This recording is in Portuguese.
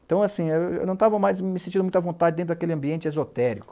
Então, assim, eu, eu não estava mais me sentindo muito à vontade dentro daquele ambiente esotérico.